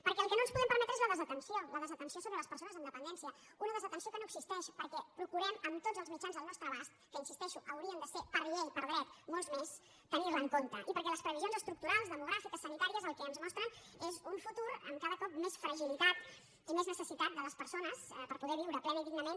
perquè el que no ens podem permetre és la desatenció la desatenció sobre les persones amb dependència una desatenció que no existeix perquè procurem amb tots els mitjans al nostre abast que hi insisteixo haurien de ser per llei per dret molts més tenir la en compte i perquè les previsions estructurals demogràfiques sanitàries el que ens mostren és un futur amb cada cop més fragilitat i més necessitat de les persones per poder viure plenament i dignament